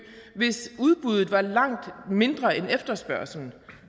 hvis udbuddet var langt mindre end efterspørgslen